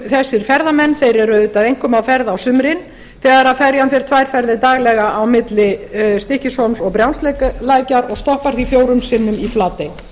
þessir ferðamenn eru auðvitað einkum á ferð á sumrin þegar ferjan fer tvær ferðir daglega á milli stykkishólms og brjánslækjar og stoppar því fjórum sinnum í flatey